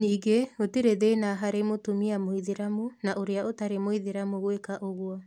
Ningĩ gũtirĩ thĩna harĩ mũtumia mũithĩramu na ũrĩa ũtarĩ mũithĩramu gwĩka ũguo.